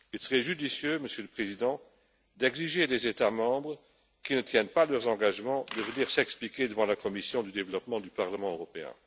Il serait judicieux, Monsieur le Président, d'exiger des États membres qui ne tiennent pas leurs engagements qu'ils viennent s'expliquer devant la commission du développement du Parlement européen.